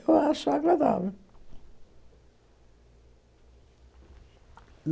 Eu acho agradável.